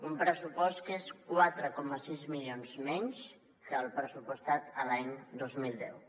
un pressupost que és quatre coma sis milions menys que el pressupostat l’any dos mil deu